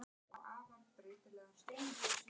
Þið verðið að finna út úr því sjálf.